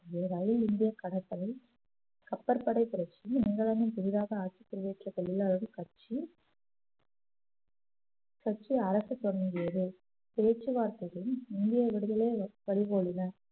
ரயில் இந்திய கடற்படை கப்பற்படை புரட்சி இங்கிலாந்தில் புதிதாக ஆட்சி புரிய வைத்த தொழிலாளர்கள் கட்சி கட்சி அரசு தொடங்கியது பேச்சுவார்த்தையில் இந்திய விடுதலையை பறிபோயின